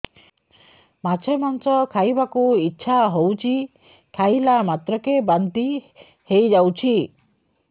ମାଛ ମାଂସ ଖାଇ ବାକୁ ଇଚ୍ଛା ହଉଛି ଖାଇଲା ମାତ୍ରକେ ବାନ୍ତି ହେଇଯାଉଛି